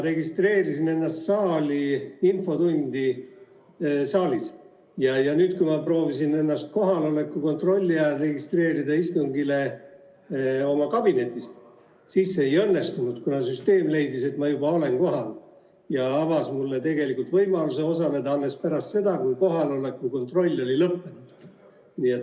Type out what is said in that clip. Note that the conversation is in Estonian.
Registreerisin ennast saalis infotunniks ja nüüd, kui ma proovisin ennast registreerida istungist osavõtuks oma kabinetis, siis see ei õnnestunud, kuna süsteem leidis, et ma juba olen kohal, ja avas mulle tegelikult võimaluse osaleda alles pärast seda, kui kohaloleku kontroll oli lõppenud.